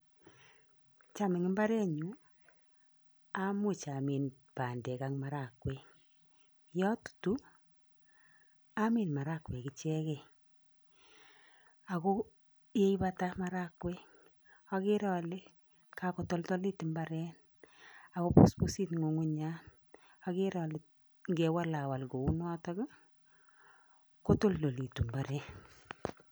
Tam eng imbaarenyun amuch amin bandek ak marakwek, ye atutu amin marakwek ichekei ako ye ipata marakwek akeere ale kakotoldolit imbaaret ako busbusit ngungunyat. Akeere ale ngewalawal kounoto kotoltolit imbaaret.